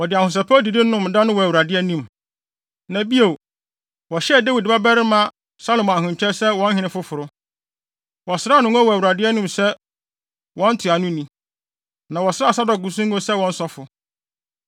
Wɔde ahosɛpɛw didi nomee da no wɔ Awurade anim. Na bio, wɔhyɛɛ Dawid babarima Salomo ahenkyɛw sɛ wɔn hene foforo. Wɔsraa no ngo wɔ Awurade anim sɛ wɔn ntuanoni, na wɔsraa Sadok nso ngo sɛ wɔn sɔfo.